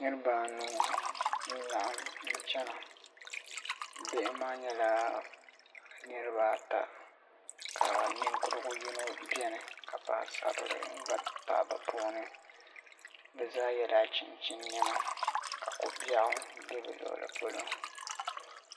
Niriba anu n laɣim n chena bihi maa nyɛla niriba ata ka ninkurigu yino biɛni ka paɣasarili gba pahi bɛ puuni bɛ zaa yela chinchin niɛma ka kobiaɣu be bɛ luɣuli polo.